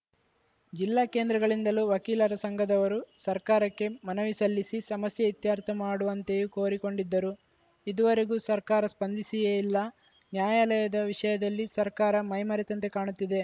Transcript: ಜಿಲ್ಲಾ ಕೇಂದ್ರಗಳಿಂದಲೂ ವಕೀಲರ ಸಂಘದವರು ಸರ್ಕಾರಕ್ಕೆ ಮನವಿ ಸಲ್ಲಿಸಿ ಸಮಸ್ಯೆ ಇತ್ಯರ್ಥ ಮಾಡುವಂತೆಯೂ ಕೋರಿಕೊಂಡಿದ್ದರೂ ಇದುವರೆಗೂ ಸರ್ಕಾರ ಸ್ಪಂದಿಸಿಯೇ ಇಲ್ಲ ನ್ಯಾಯಾಲಯದ ವಿಷಯದಲ್ಲಿ ಸರ್ಕಾರ ಮೈಮರೆತಂತೆ ಕಾಣುತ್ತಿದೆ